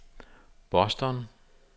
Boston